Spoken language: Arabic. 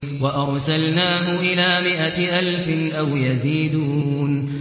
وَأَرْسَلْنَاهُ إِلَىٰ مِائَةِ أَلْفٍ أَوْ يَزِيدُونَ